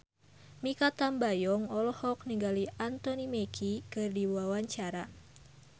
Mikha Tambayong olohok ningali Anthony Mackie keur diwawancara